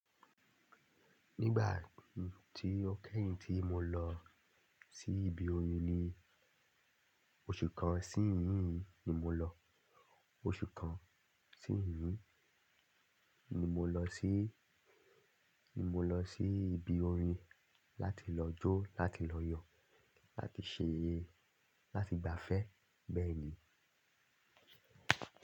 Nígbà tí ó kẹ́yìn tí mo lọ sí ibi orin ni, oṣù kan sí ìhín ni mo lọ. Oṣù kan sí ìhín ni mo lọ sí, ni mo lọ sí ibi orin láti lọ jó, láti lọ yọ̀, láti ṣe ayẹyẹ, láti gbafẹ́ bẹ́ẹ̀ni.